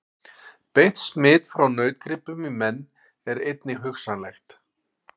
Beint smit frá nautgripum í menn er einnig hugsanlegt.